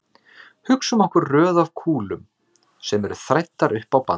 Hugsum okkur röð af kúlum sem eru þræddar upp á band.